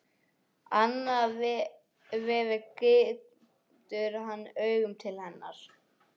Annað veifið gýtur hann augunum til hennar.